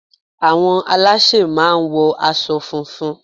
Àwọn alásè máà ń wo asọ funfun